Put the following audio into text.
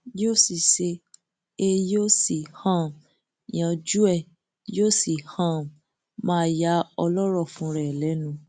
yóò sì ṣe é yóò sì um yanjú ẹ yóò sì um máa ya ọlọrọ fúnra ẹ lẹnu